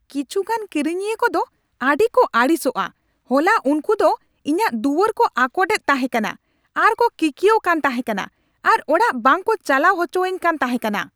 ᱠᱤᱪᱷᱩᱜᱟᱱ ᱠᱤᱨᱤᱧᱤᱭᱟᱹ ᱠᱚᱫᱚ ᱟᱹᱰᱤ ᱠᱚ ᱟᱹᱲᱤᱥᱚᱜᱼᱟ ᱾ ᱦᱚᱞᱟ ᱩᱝᱠᱩ ᱫᱚ ᱤᱧᱟᱹᱜ ᱫᱩᱣᱟᱹᱨ ᱠᱚ ᱟᱠᱳᱴ ᱮᱫ ᱛᱟᱦᱮᱸ ᱠᱟᱱᱟ ᱟᱨ ᱠᱚ ᱠᱤᱠᱭᱟᱹᱜ ᱠᱟᱱ ᱛᱟᱦᱮᱸᱠᱟᱱᱟ, ᱟᱨ ᱚᱲᱟᱜ ᱵᱟᱝ ᱠᱩ ᱪᱟᱞᱟᱣ ᱚᱪᱚ ᱟᱧ ᱠᱟᱱ ᱛᱟᱦᱮᱸ ᱠᱟᱱᱟ !